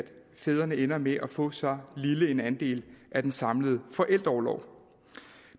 fædrene ender med at få så lille en andel af den samlede forældreorlov